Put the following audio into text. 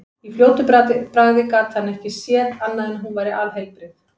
Í fljótu bragði gat hann ekki séð annað en hún væri alheilbrigð.